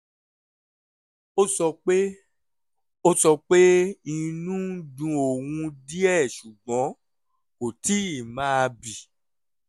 ó sọ pé sọ pé inú ń dun òun díẹ̀ ṣùgbọ́n kò tíì máa bì